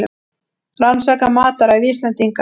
Rannsaka mataræði Íslendinga